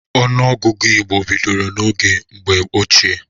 Ọnụọgụgụ ndị Igbo bidoro n'oge mgbe ochie.